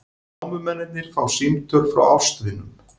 Námumennirnir fá símtöl frá ástvinum